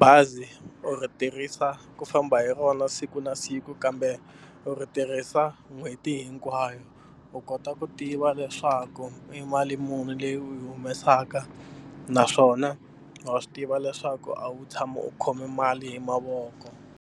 bazi u ri tirhisa ku famba hi rona siku na siku kambe u ri tirhisa n'hweti hinkwayo u kota ku tiva leswaku i mali muni leyi u yi humesaka naswona wa swi tiva leswaku a wu tshami u khome mali hi mavoko.